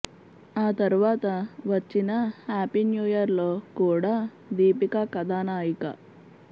ఆ తరువాత వచ్చిన హ్యాపి న్యు ఇయర్ లో కుడా దీపిక కథానాయిక